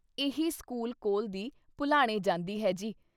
ਇਹੀ ਸਕੂਲ ਕੋਲ ਦੀ ਭੁਲਾਣੇ ਜਾਂਦੀ ਹੈ ਜੀ।"